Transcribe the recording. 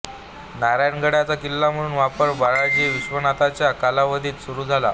नारायणगडाचा किल्ला म्हणून वापर बाळाजी विश्वनाथाच्या कालावधीत सुरू झाला